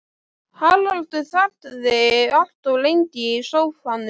Haraldur þagði allt of lengi í sófanum.